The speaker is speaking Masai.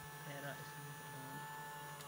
Keyeita esumash iltung'ana.